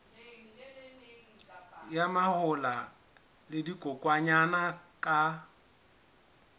ya mahola le dikokwanyana ka